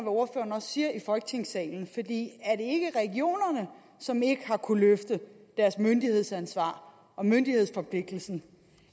ordføreren siger i folketingssalen er det ikke regionerne som ikke har kunnet løfte deres myndighedsansvar og myndighedsforpligtelse